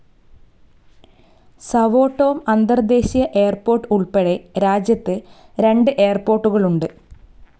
Sao Tome അന്തർദേശീയ airport ഉൾപ്പെടെ രാജ്യത്ത് രണ്ട് എയർപോർട്ടുകളുണ്ട്.